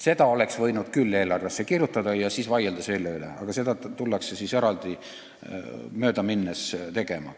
Selle oleks võinud küll eelarvesse kirjutada ja selle üle vaielda, aga seda tullakse nüüd möödaminnes tegema.